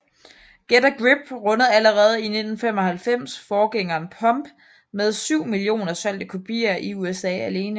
Get a Grip rundede allerede i 1995 forgængeren Pump med 7 millioner solgte kopier i USA alene